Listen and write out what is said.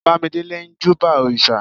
bamidele n júbà òrìsà